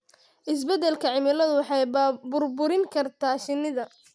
Isbeddelka cimiladu waxay burburin kartaa shinnida.